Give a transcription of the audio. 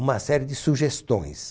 uma série de sugestões.